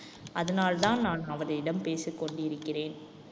அதனால்தான் நான் அவரிடம் பேசிக் கொண்டு இருக்கிறேன்.